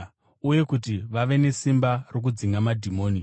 uye kuti vave nesimba rokudzinga madhimoni.